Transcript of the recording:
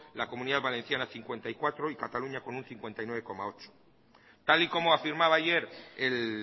la comunidad valenciana cincuenta y cuatro y cataluña con un cincuenta y nueve coma ocho tal y como afirmaba ayer el